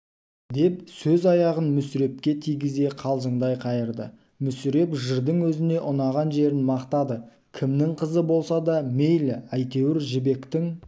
деп сөз аяғын мүсірепке тигізе қалжыңдай қайырды мүсіреп жырдың өзіне ұнаған жерін мақтады кімнің қызы болса да мейлі әйтеуір жібектің